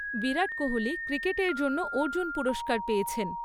বিরাট কোহলি ক্রিকেটের জন্য অর্জুন পুরস্কার পেয়েছেন।